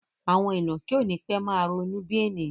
Àwọn ìnàkí ó nipe máa ronú bí ènìyàn